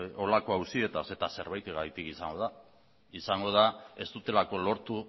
horrelako auzietaz eta zerbaitegatik izango da izango da ez dutelako lortu